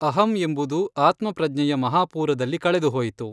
ಅಹಂ ಎಂಬುದು ಆತ್ಮ ಪ್ರಜ್ಞೆಯ ಮಹಾಪೂರದಲ್ಲಿ ಕಳೆದು ಹೋಯಿತು.